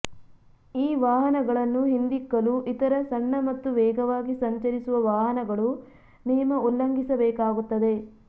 ಈ ವಾಹನಗಳನ್ನು ಹಿಂದಿಕ್ಕಲು ಇತರ ಸಣ್ಣ ಮತ್ತು ವೇಗವಾಗಿ ಸಂಚರಿಸುವ ವಾಹನಗಳು ನಿಯಮ ಉಲ್ಲಂಘಿಸಬೇಕಾಗುತ್ತದೆ